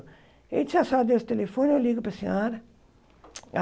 A gente já sabe o telefone, eu ligo para a senhora. Ah